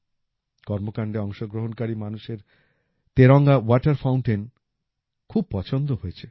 কর্মকাণ্ডে অংশগ্রহণকারী মানুষের তেরাঙ্গা ওয়াটার ফাউন্টেইন খুব পছন্দ হয়েছে